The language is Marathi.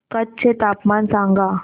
कच्छ चे तापमान सांगा